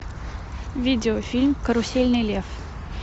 видеофильм карусельный лев